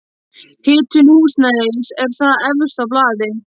Hitun húsnæðis er þar efst á blaði.